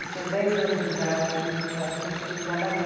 Eu tinha dez anos de idade, comecei a estudar ballet.